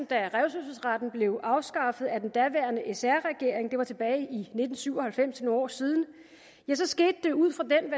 da revselsesretten blev afskaffet af den daværende sr regering det var tilbage i nitten syv og halvfems år siden skete det ud fra den